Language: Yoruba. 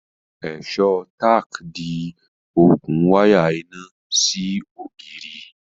èso tack di okùn waya iná sí ògiri